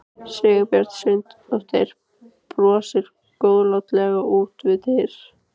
Sigurbjörg Sveinsdóttir brosir góðlátlega út við dyr.